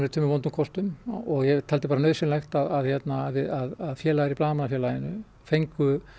tveimur vondum kostum og ég vildi bara að félagar í Blaðamannafélaginu fengju